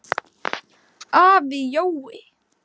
Afi Jói.